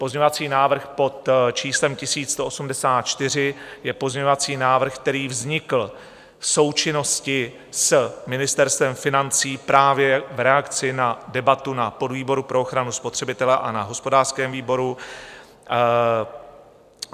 Pozměňovací návrh pod číslem 1184 je pozměňovací návrh, který vznikl v součinnosti s Ministerstvem financí právě v reakci na debatu na podvýboru pro ochranu spotřebitele a na hospodářském výboru.